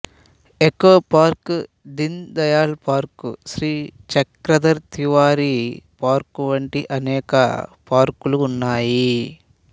echo park Deen Dayal park Shri Chakradhar Tiwari park వంటి అనేక పార్కులు ఉన్నాయి